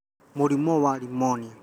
Mũrimũ wa rĩmũnia